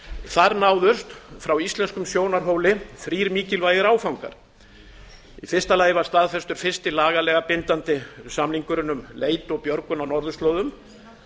þar náðust frá íslenskum sjónarhóli þrír mikilvægir áfangar í fyrsta lagi var staðfestur fyrsti lagalega bindandi samningurinn um leit og björgun á norðurslóðum